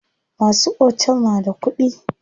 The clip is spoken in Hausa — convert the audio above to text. Masu otel na da kuɗi.